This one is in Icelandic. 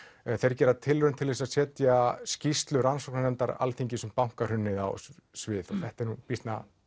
gera tilraun til að setja skýrslu rannsóknarnefndar Alþingis um bankahrunið á svið þetta er nú býsna